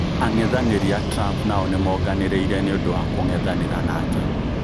Ang'ethaniri aa Trumph nao nimaonganiriire niũndũ wa kũng'ethanira nake.